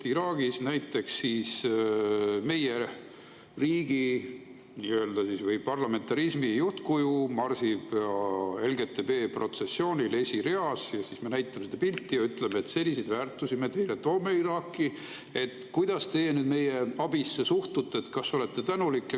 Iraagis näiteks meie riigi või parlamentarismi juhtkuju marsib LGBT-protsessioonil esireas ja siis me näitame seda pilti ja ütleme, et selliseid väärtusi me toome teile Iraaki, et kuidas te meie abisse suhtute, kas olete tänulik.